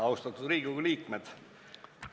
Austatud Riigikogu liikmed!